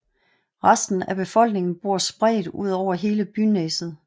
Resten af befolkningen bor spredt udover hele Byneset